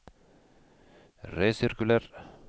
resirkuler